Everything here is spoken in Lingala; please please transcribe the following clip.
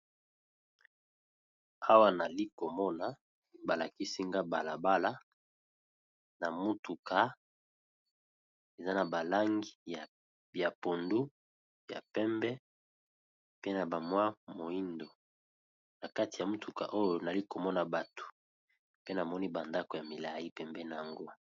Awa nali komona balakisi nga balabala na mutuka eza na ba langi ya pondu, ya pembe, pe na ba mwa moyindo na kati ya mutuka oyo nali komona bato pe namoni ba ndako ya milayi pembeni nango.